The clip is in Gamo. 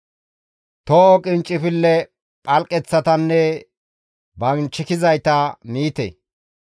Toho qinccifilley phalqeththatanne banchikizayta miite.